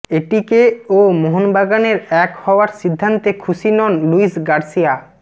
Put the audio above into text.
এটিকে ও মোহনবাগানের এক হওয়ার সিদ্ধান্তে খুশি নন লুইস গার্সিয়া